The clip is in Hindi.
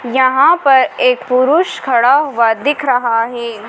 यहां पर एक पुरुष खड़ा हुवा दिख रहा हैं।